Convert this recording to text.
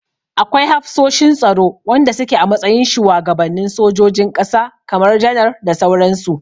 Akwai hafsoshin tsaro wanda suke a matsayin shuwagabanin sojojin ƙasa kamar janar da sauran su.